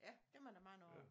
Ja dem er der mange af